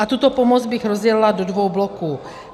A tuto pomoc bych rozdělila do dvou bloků.